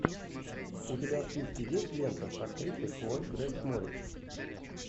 у тебя в списке есть лента с актрисой хлоя грейс морец